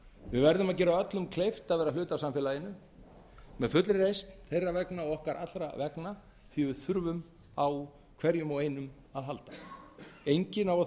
við verðum að gera öllum kleift að vera hluti af samfélaginu með fullri reisn þeirra vegna og okkar allra vegna því að við þurfum á hverjum og einum að halda enginn á að þurfa